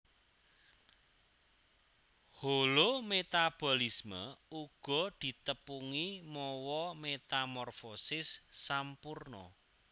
Holometabolisme uga ditepungi mawa metamorfosis sampurna